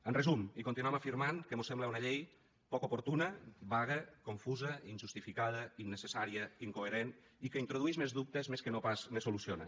en resum continuem afirmant que mos sembla una llei poc oportuna vaga confusa injustificada innecessària incoherent i que introdueix més dubtes més que no pas en soluciona